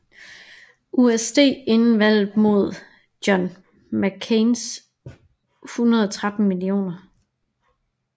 USD inden valget mod John McCains 113 mio